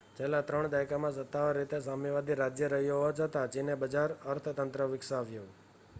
છેલ્લા ત્રણ દાયકામાં સત્તાવાર રીતે સામ્યવાદી રાજ્ય રહ્યું હોવા છતાં ચીને બજાર અર્થતંત્ર વિકસાવ્યું